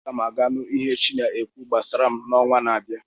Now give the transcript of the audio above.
Aga m aga nụ ihe chi na-ekwu gbasara m n'ọnwa na-abịa.